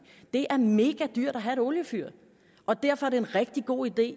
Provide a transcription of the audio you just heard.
det er megadyrt at have et oliefyr og derfor er det en rigtig god idé